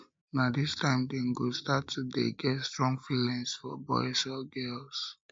na dis time dem go start to dey get strong feelings for boys or girls